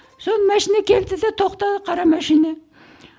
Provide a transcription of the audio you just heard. соны машина келді де тоқтады қара машина